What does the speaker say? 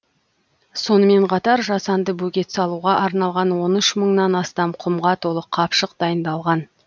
сонымен қатар жасанды бөгет салуға арналған он үш мыңнан астам құмға толы қапшық дайындалған